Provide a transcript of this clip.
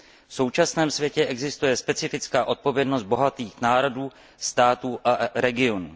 V současném světě existuje specifická odpovědnost bohatých národů, států a regionů.